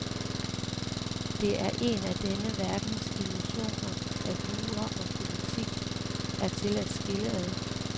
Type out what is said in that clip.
Det er en af denne verdens illusioner, at jura og politik er til at skille ad.